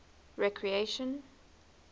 recreation